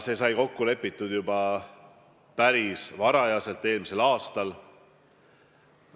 See sai kokku lepitud juba päris vara eelmisel aastal.